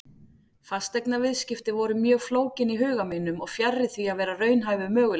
Fasteignaviðskipti voru mjög flókin í huga mínum og fjarri því að vera raunhæfur möguleiki.